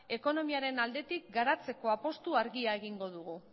ekonomiaren aldetik garatzeko apustu garbia egingo dugu